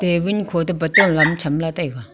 table khoto bottle lam chamla taiga.